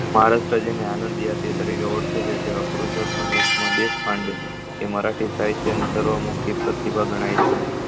મહારાષ્ટ્ર જેને આનંદ યાત્રી તરીકે ઓળખે છે તેવા પુરુષોત્તમ દેશ કાંડ એ મરાઠી સાહિત્ય ની સર્વમુક્તિ પ્રતિભા ગણાય છે